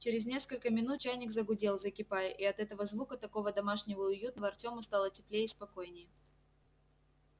через несколько минут чайник загудел закипая и от этого звука такого домашнего и уютного артёму стало теплее и спокойнее